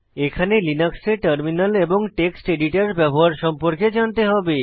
এখানে লিনাক্সে টার্মিনাল এবং টেক্সট এডিটর ব্যবহার সম্পর্কে জানতে হবে